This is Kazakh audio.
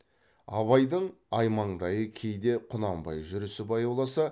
абайдың аймаңдайы кейде құнанбай жүрісі баяуласа